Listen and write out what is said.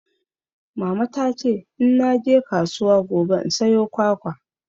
Mama ta ce in naje kasuwa gobe in sayo kwakwa.